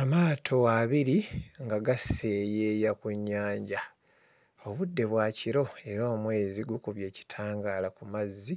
Amaato abiri nga gaseeyeeya ku nnyanja. Obudde bwa kiro era omwezi gukubye ekitangaala ku mazi